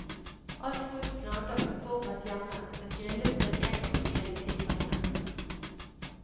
Alt godt planlagt og forberedt hjemme, men grillet på en engangsgrill i det grønne.